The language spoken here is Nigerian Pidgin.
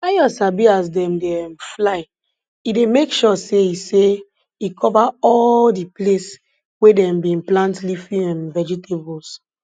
ayo sabi as dem dey um fly e dey make sure say e say e cover all di place wey dem bin plant leafy um vegetables